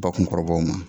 Bakunkɔrɔbaw ma